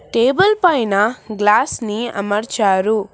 Table పైన glass ని అమర్చారు.